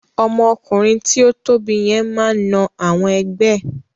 Ọmọ ọkùnrin tí o tóbi yẹn máa n na àwọn ẹgbẹ́ ẹ.